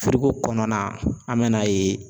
kɔnɔna na an mɛn'a yen